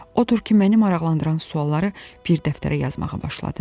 Odur ki, məni maraqlandıran sualları bir dəftərə yazmağa başladım.